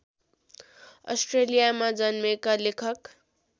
अस्ट्रेलियामा जन्मेका लेखक